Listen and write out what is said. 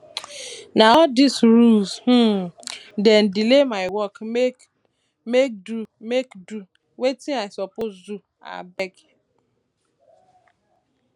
na all dese rules um dey delay my work make do um make do um wetin i suppose do um abeg